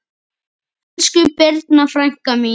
Elsku Birna frænka mín.